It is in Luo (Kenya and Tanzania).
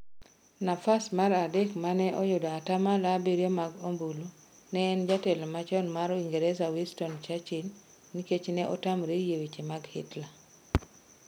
Nafas mar adek mane oyudo atamalo abiriyio mag ombulu ne en jatelo machon mar Uingereza Winston Churchil nikech ne otamore yie weche mag Hitler.